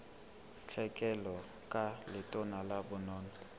tlhekelo ka letona la bonono